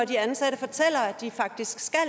de ansatte fortæller at de faktisk skal